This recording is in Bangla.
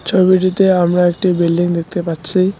ছবিটিতে আমরা একটি বিল্ডিং দেখতে পাচ্ছি।